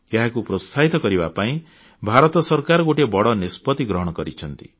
ଏହାକୁ ପ୍ରୋତ୍ସାହିତ କରିବା ପାଇଁ ଭାରତ ସରକାର ଗୋଟିଏ ବଡ଼ ନିଷ୍ପତ୍ତି ଗ୍ରହଣ କରିଛନ୍ତି